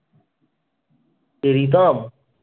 কে Ritam?